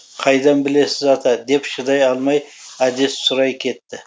қайдан білесіз ата деп шыдай алмай әдес сұрай кетті